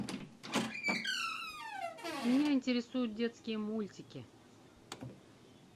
меня интересуют детские мультики